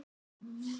Hver eru þau?